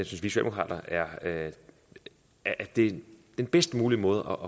socialdemokrater at det er den bedst mulige måde